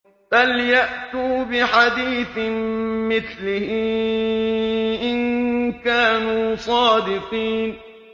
فَلْيَأْتُوا بِحَدِيثٍ مِّثْلِهِ إِن كَانُوا صَادِقِينَ